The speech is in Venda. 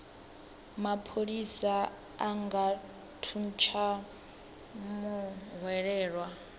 mapholisa a nga thuntsha muhwelelwa